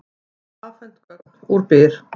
Fá afhent gögn úr Byr